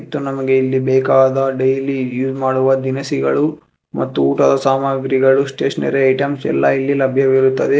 ತ್ತು ನಮಗೆ ಇಲ್ಲಿ ಬೇಕಾದ ಡೈಲಿ ಯೂ ಮಾಡುವ ದಿನಸಿಗಳು ಮತ್ತು ಊಟದ ಸಾಮಾಗ್ರಿಗಳು ಸ್ಟೇಷನರಿ ಐಟೆಮ್ಸ ಎಲ್ಲಾ ಇಲ್ಲಿ ಲಭ್ಯವಿರುತ್ತದೆ.